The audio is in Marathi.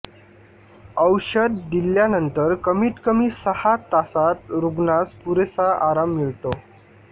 औषध दिल्यानंतर कमीतकमी सहा तासात रुग्णास पुरेसा आराम मिळतो